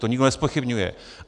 To nikdo nezpochybňuje.